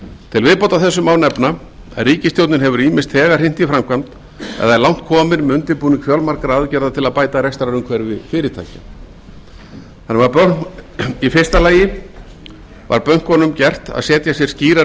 til viðbótar þessu án efna að ríkisstjórnin hefur ýmist þegar hrint í framkvæmd eða er langt komin með undirbúning fjölmargra aðgerða til að bæta rekstrarumhverfi fyrirtækja í fyrsta lagi var bönkunum gert að setja sér skýrar